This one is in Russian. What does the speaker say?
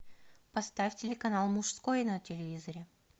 поставь телеканал мужской на телевизоре